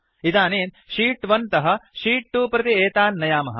इदानीं शीत् 1 तः शीत् 2 प्रति एतान् नयामः